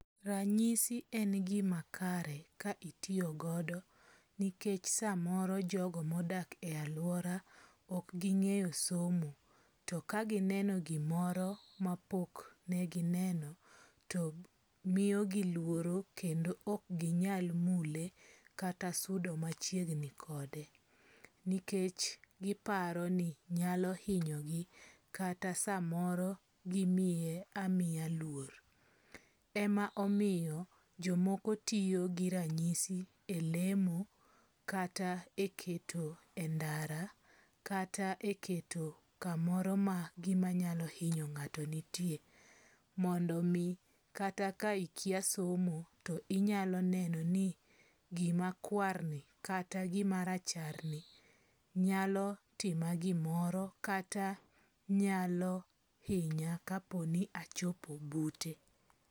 Ranyisi en gima kare ka itiyogodo. Nikech samoro jogo modak e aluora ok ging'eyo somo. To kagineno gimoro mapok gineno to miyogi luoro kendo ok ginyal mule kata sudo machiegni kode. Nikech giparo ni nyalo hinyo gi kata samoro gimiye amiya luor. Ema omiyo jomoko tiyo gi ranyisi e lemo kata e keto endara kata e keto kamoro ma gimanyalo hinyo ng'ato nitie. Mondo omi kata ka ikia somo to inyalo neno ni gima war ni kata gima rachar ni nyoalo tima gimoro kata nyalo hinya kapo ni achopo bute.